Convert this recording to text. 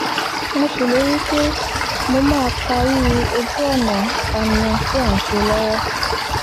mo ṣèlérí pé mo máa parí ojú-ọ̀nà fàmíà tí à ń ṣe lọ́wọ́